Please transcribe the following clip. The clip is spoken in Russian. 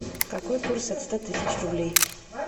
какой курс от ста тысяч рублей